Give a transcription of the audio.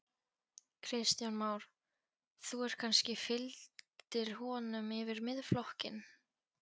Kristján Már: Þú ert kannski, fylgdir honum yfir Miðflokkinn?